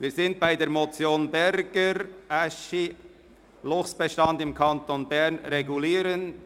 Wir sind bei der Motion Berger, Aeschi: «Luchsbestand im Kanton Bern regulieren».